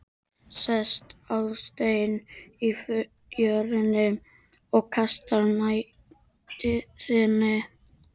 Sest á stein í fjörunni og kastar mæðinni.